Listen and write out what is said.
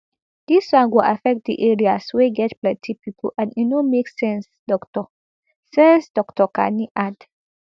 dis one go affect di areas wey get plenty pipo and e no make sense dr sense dr kani add